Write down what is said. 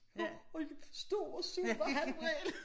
Og og jeg stod og så når han vrælede